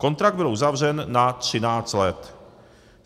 Kontrakt byl uzavřen na 13 let.